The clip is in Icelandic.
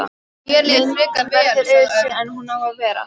Myndin verður öðruvísi en hún á að vera.